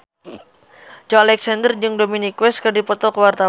Joey Alexander jeung Dominic West keur dipoto ku wartawan